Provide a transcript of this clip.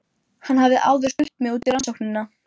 Við væntum tryggðar, trúnaðar og fullnægjandi kynlífs.